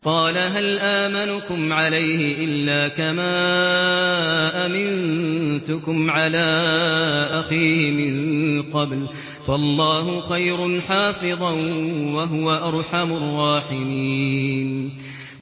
قَالَ هَلْ آمَنُكُمْ عَلَيْهِ إِلَّا كَمَا أَمِنتُكُمْ عَلَىٰ أَخِيهِ مِن قَبْلُ ۖ فَاللَّهُ خَيْرٌ حَافِظًا ۖ وَهُوَ أَرْحَمُ الرَّاحِمِينَ